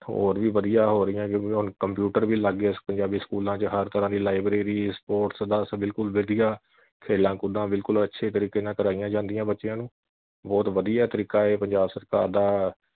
ਹੋਰ ਵੀ ਵਧੀਆ ਹੋ ਰਹੀਆਂ ਕਿਉਂਕਿ ਹੁਣ computer ਵੀ ਲੱਗ ਗਏ ਪੰਜਾਬੀ ਸਕੂਲਾਂ ਵਿੱਚ ਹਰ ਤਰ੍ਹਾਂ ਦੀ librarysports ਬਿਲਕੁਲ ਵਧੀਆ ਖੇਲਾਂ ਕੂਦਾ ਬਿਲਕੁਲ ਅੱਛੇ ਤਰੀਕੇ ਨਾਲ ਕਰਾਈਆ ਜਾਂਦੀਆਂ ਬੱਚਿਆਂ ਨੂੰ ਬਹੁਤ ਵਧੀਆ ਤਰੀਕਾ ਇਹ ਪੰਜਾਬ ਸਰਕਾਰ ਦਾ